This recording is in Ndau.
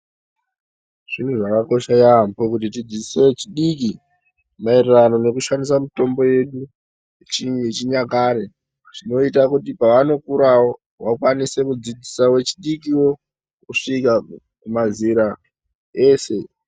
Zviro zvakakosha yaamho kuti tidzidzise vechidiki maererano nekushandisa mitombo yedu yechinyakare zvinoita kuti pavanokurawo vakwanise kudzidzisa vechidikowo kusvika mazera ese.